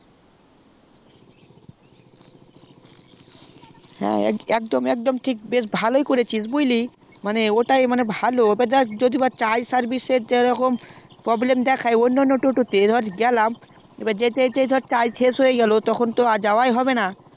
একদম একদম ভালোই করেছিস বুজলি ওটাই মানে ভালো যদি দেখ charge service এর problem দোহাই অন্যান toto তে যেতে যেতে charge শেষ হয়ে গেলো তাহলে তো আর যাওয়াই হবেনা